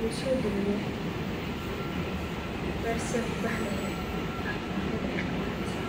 loo soo geliyo beerta say kubaxi leheyd aa falked qabaneysa